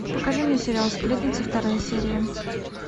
покажи мне сериал сплетница вторая серия